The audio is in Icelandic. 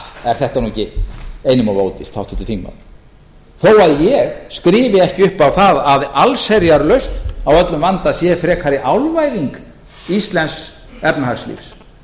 er þetta nú ekki einum of ódýrt háttvirtur þingmaður þó að ég skrifi ekki upp á það að allsherjarlausn á öllum vanda sé frekari álvæðing íslensks efnahagslífs